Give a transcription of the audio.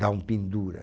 Dá um pendura.